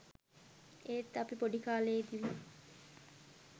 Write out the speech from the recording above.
ඒත් අපි පොඩිකාලෙදිම